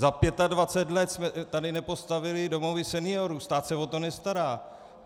Za 25 let jsme tady nepostavili domovy seniorů, stát se o to nestará.